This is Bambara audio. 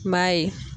N b'a ye